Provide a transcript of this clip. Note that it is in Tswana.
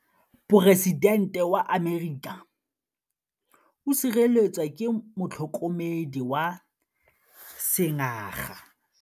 Poresitêntê wa Amerika o sireletswa ke motlhokomedi wa sengaga.